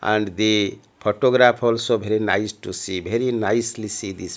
and the photograph also very nice to see very nicely see this --